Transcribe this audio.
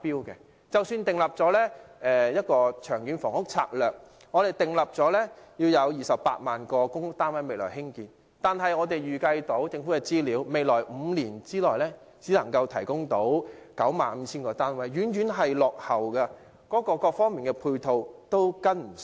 即使政府已訂立《長遠房屋策略》，要在未來興建28萬多個公屋單位，但從政府資料預計，未來5年提供的單位只有 95,000 個，遠遠落後目標，各方面的配套亦跟不上。